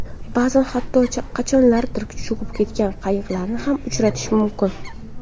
Ba’zan hatto qachonlardir cho‘kib ketgan qayiqlarni ham uchratish mumkin.